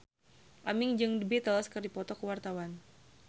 Aming jeung The Beatles keur dipoto ku wartawan